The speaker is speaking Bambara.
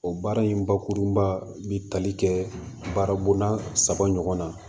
O baara in bakurunba bi tali kɛ baara bonda saba ɲɔgɔn na